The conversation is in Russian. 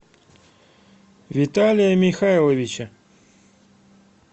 виталия михайловича